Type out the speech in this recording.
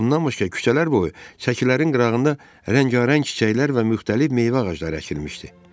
Bundan başqa küçələr boyu çəkilərin qırağında rəngarəng çiçəklər və müxtəlif meyvə ağacları əkilmişdi.